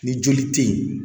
Ni joli tɛ yen